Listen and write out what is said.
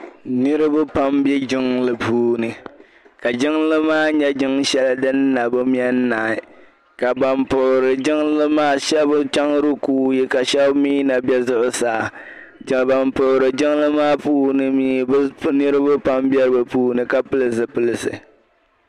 Niriba pam m bɛ jiŋli puuni ka jiŋli maa nyɛ jiŋ shɛli din na bɛ mɛ naai ka ban puhiri jiŋli maa shɛba chaŋ rikuuyi ka shɛba mi na bɛ zuɣusaa ka ban puhiri jiŋli maa puuni mi niriba pam bɛ puuni ka pili zupilisi.